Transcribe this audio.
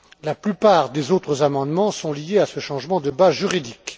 La plupart des autres amendements sont liés à ce changement de base juridique.